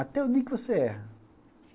Até o dia que você erra.